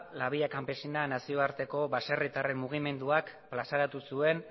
la villa campesinan nazioarteko baserritar mugimenduak plazaratu zuen